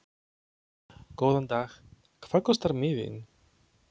Góðan dag. Hvað kostar miðinn?